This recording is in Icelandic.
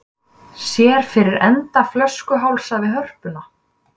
Sér fyrir enda flöskuhálsa við Hörpuna